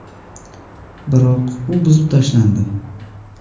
Biroq u buzib tashlandi.